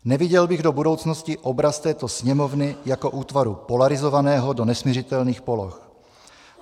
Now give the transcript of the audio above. Neviděl bych do budoucnosti obraz této Sněmovny jako útvaru polarizovaného do nesmiřitelných poloh.